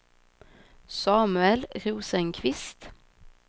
Samuel Rosenqvist